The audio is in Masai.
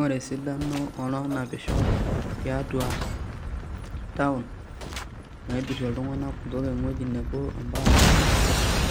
Ore esidano onaapisho tiatua taon naidurie iltung'anak eweji nebo ompaka enkae,